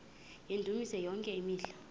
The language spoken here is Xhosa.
yendumiso yonke imihla